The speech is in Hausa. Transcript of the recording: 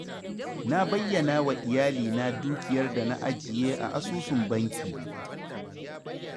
Na bayyanawa iyalina dukiyar da na ajiye a asusun bankina.